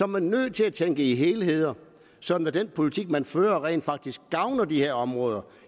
man nødt til at tænke i helheder sådan at den politik man fører rent faktisk gavner disse områder